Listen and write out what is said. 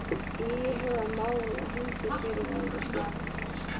Íhuga mál á hendur fyrrverandi stjórnarmönnum